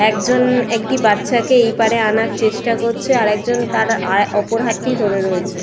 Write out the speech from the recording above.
একজন একটি বাচ্চাকে এই পাড়ে আনার চেষ্টা করছে আরেকজন তার আর অপর হাতটি ধরে রয়েছে।